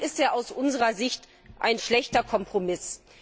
Warum ist es aus unserer Sicht ein schlechter Kompromiss?